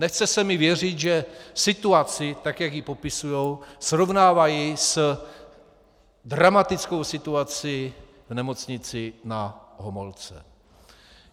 Nechce se mi věřit, že situaci tak, jak ji popisují, srovnávají s dramatickou situací v Nemocnici Na Homolce.